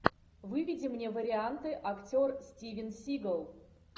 выведи мне варианты актер стивен сигал